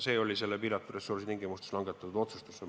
See oli piiratud ressursside tingimustes langetatud otsus.